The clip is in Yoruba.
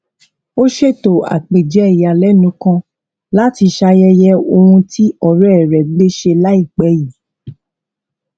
ó ṣètò àpèjẹ ìyàlénu kan láti ṣayẹyẹ ohun tí ọrẹ rẹ gbé ṣe láìpẹ yìí